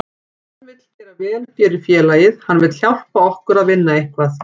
Hann vill gera vel fyrir félagið, hann vill hjálpa okkur að vinna eitthvað.